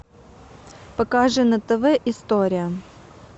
покажи на тв история